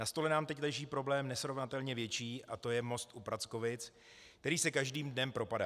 Na stole nám teď leží problém nesrovnatelně větší a to je most u Prackovic, který se každým dnem propadá.